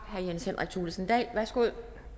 herre jens henrik thulesen dahl værsgo